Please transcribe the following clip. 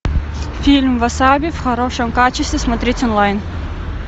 фильм васаби в хорошем качестве смотреть онлайн